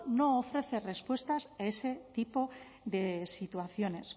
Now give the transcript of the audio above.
no ofrece respuestas a ese tipo de situaciones